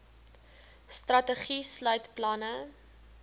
strategie sluit planne